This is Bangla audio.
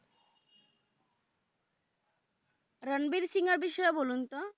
রানবির সিংহ এর বিষয়ে বলুন তো